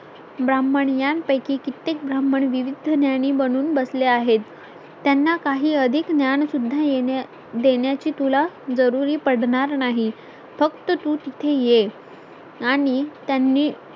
ब्राह्मण यांपैकी कित्येक ब्राह्मण विविध ज्ञानी बनून बसले आहेत त्यांना काही अधिक ज्ञान सुद्धा येण्या देण्याची तुला जरूरी पडणार नाही फक्त तू तिथे ये